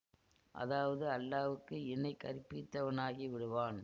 அதாவது அல்லாஹ்வுக்கு இணை கற்பித்தவனாகி விடுவான்